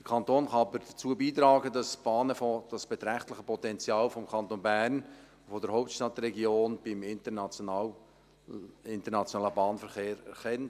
Der Kanton kann aber dazu beitragen, dass die Bahnen das beträchtliche Potenzial des Kantons Bern als Hauptstadtregion beim internationalen Bahnverkehr erkennen.